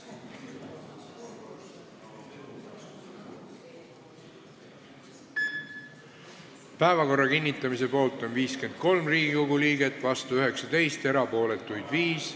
Hääletustulemused Päevakorra kinnitamise poolt on 53 ja vastu 19 Riigikogu liiget, erapooletuid on 5.